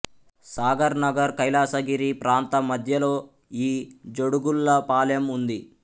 సాగర్ నగర్ కైలాసగిరి ప్రాంతా మధ్యలో ఈ జోడుగుళ్ళపాలెం ఉంది